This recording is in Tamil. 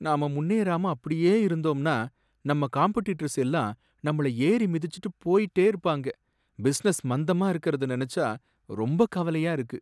நாம முன்னேறாம அப்படியே இருந்தோம்னா நம்ம காம்பட்டிட்டர்ஸ் எல்லாரும் நம்மள ஏறி மிதிச்சுட்டு போயிட்டே இருப்பாங்க. பிசினஸ் மந்தமா இருக்குறத நினைச்சா ரொம்ப கவலையா இருக்கு.